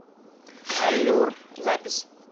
аллюр запись